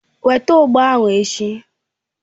Weta ugba ahu echi.!